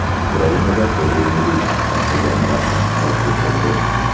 Ukrainada poliomiyelit tarqalgani rasman qayd etildi.